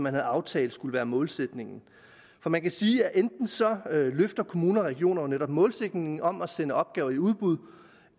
havde aftalt skulle være målsætningen for man kan sige at enten så løfter kommuner og regioner netop målsætningen om at sende opgaver i udbud